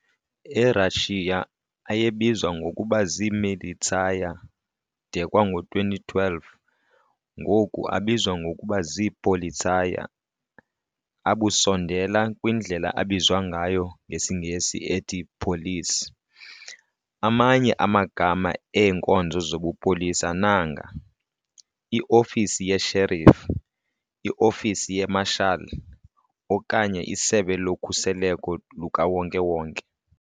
E-Russia, ayebizwa ngokuba zii-"Militsiyer" de kwango-2012, ngoku, abizwa ngokuba zii-"Politsiyer", abusondela kwindlela abizwa ngayo ngesiNgesi ethi "police". Amanye amagama eenkonzo zobupolisa nanga- i-ofisi yesherif, i-ofisi ye-marshal, okanye isebe lokhuseleko lukawonke-wonke.